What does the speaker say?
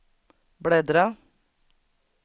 bläddra